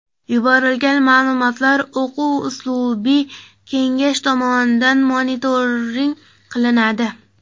Yuborilgan ma’lumotlar o‘quv-uslubiy kengash tomonidan monitoring qilinadi.